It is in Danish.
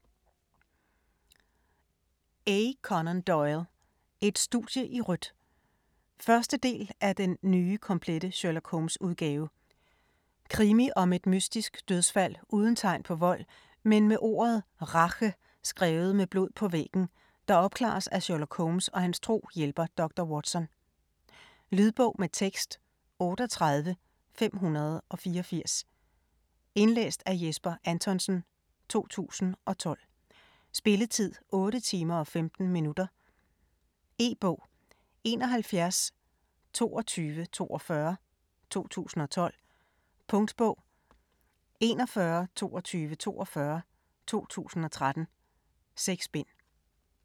Doyle, A. Conan: Et studie i rødt 1. del af Den nye komplette Sherlock Holmes-udgave. Krimi om et mystisk dødsfald uden tegn på vold, men med ordet RACHE skrevet med blod på væggen, der opklares af Sherlock Holmes og hans tro hjælper dr. Watson. Lydbog med tekst 38584 Indlæst af Jesper Anthonsen, 2012. Spilletid: 8 timer, 15 minutter. E-bog 712242 2012. Punktbog 412242 2013. 6 bind.